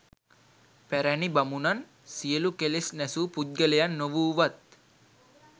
පැරැණි බමුණන් සියලු කෙලෙස් නැසූ පුද්ගලයන් නොවූවත්